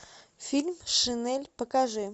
фильм шинель покажи